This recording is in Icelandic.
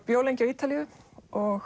bjó lengi á Ítalíu og